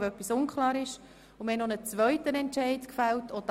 Wenn etwas unklar ist, melden Sie sich bitte möglichst bald.